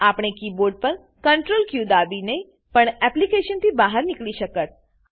આપણે કીબોર્ડ પર Ctrl ક દાબીને પણ એપ્લીકેશનથી બહાર નીકળી શકત